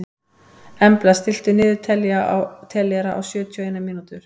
Embla, stilltu niðurteljara á sjötíu og eina mínútur.